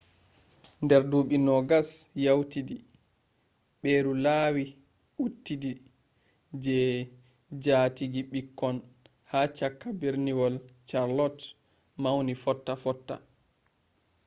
nder ɗuɓɓi 20 yawtidi ɓeru laawi uɗɗitidi je jaatigi-ɓikkon ha cakka berniwol charlotte mawni fotta fotta